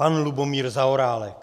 Pan Lubomír Zaorálek.